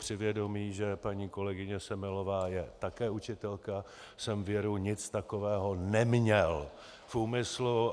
Při vědomí, že paní kolegyně Semelová je také učitelka, jsem věru nic takového neměl v úmyslu.